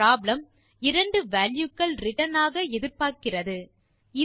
இந்த ப்ராப்ளம் இரண்டு வால்யூ கள் ரிட்டர்ன் ஆக எதிர்பார்க்கிறது